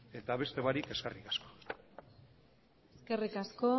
zehar eta beste barik eskerrik asko eskerrik asko